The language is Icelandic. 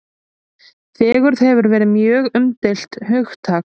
Fegurð hefur verið mjög umdeilt hugtak.